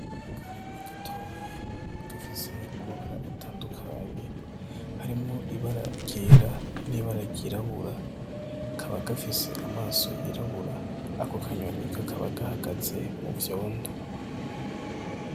Akanyoni gatoya gafise amabara atandukanye hariwo ibara ryera nibara ryirabura kaba gafise amaso yirabura ako kanyoni kakaba gahagaze muvyondo.